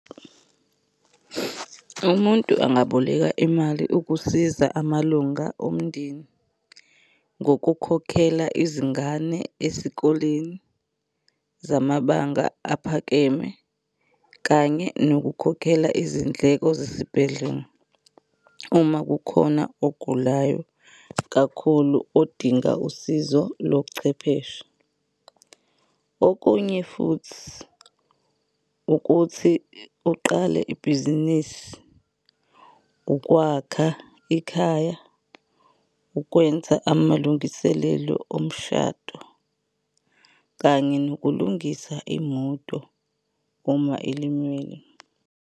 Umuntu angaboleka imali ukusiza amalunga omndeni ngokukhokhela izingane esikoleni zamabanga aphakeme, kanye nokukhokhela izindleko zesibhedlela uma kukhona ogulayo kakhulu odinga usizo lochwepheshe. Okunye futhi ukuthi uqale ibhizinisi, ukwakha ikhaya, ukwenza amalungiselelo omshado, kanye nokulungisa imoto uma ilimele.